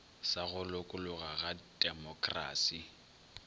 sa go lokologa sa demokrasi